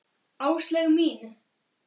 Áslaug mín!